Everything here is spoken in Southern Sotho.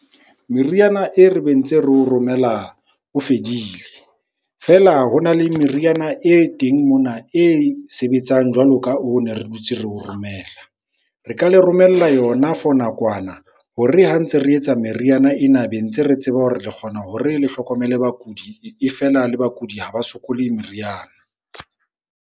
Meriana e re be ntse re o romela o fedile. Feela ho na le meriana e teng mona e sebetsang jwalo ka oo ne re dutse re o romela. Re ka le romella yona for nakwana hore ha ntse re etsa meriana ena, be ntse re tseba hore re kgona hore le hlokomele bakudi. E feela le bakudi ha ba sokole meriana.